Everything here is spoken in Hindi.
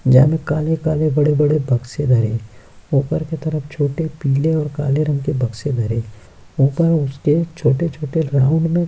जहाँ में काले-काले बड़े-बड़े बक्से धरे ऊपर के तरफ छोटे पीले और काले रंग के बक्से धरे ऊपर उसके छोटे-छोटे राउंड में --